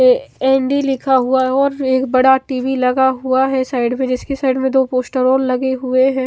ऐ N D लिखा हुआ है और एक बड़ा टी_वी लगा हुआ है साइड में जिसके साइड में दो पोस्टर और लगे हुए है।